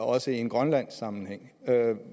også i en grønlandsk sammenhæng er er